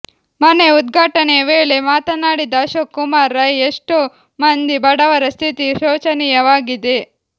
ಮನೆ ಉದ್ಘಾಟನೆಯ ವೇಳೆ ಮಾತನಾಡಿದ ಅಶೋಕ್ ಕುಮಾರ್ ರೈ ಎಷ್ಟೋ ಮಂದಿ ಬಡವರ ಸ್ಥಿತಿ ಶೋಚನಿಯ ವಾಗಿದೆ